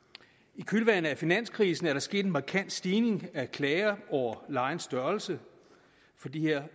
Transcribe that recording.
i kølvandet på finanskrisen er der sket en markant stigning af klager over lejens størrelse for de her